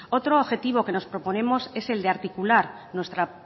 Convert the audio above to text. otro objetivo que nos proponemos es el de articular nuestra